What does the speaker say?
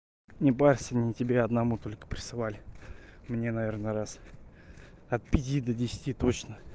не парься не тебе одному только присылали мне наверное раз от пяти до десяти точно